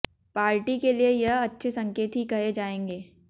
party के लिए यह अच्छे संकेत ही कहे जाएंगे